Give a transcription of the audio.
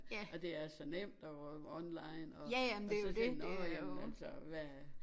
Og det er så nemt og online og og så tænk nårh ja men altså hvad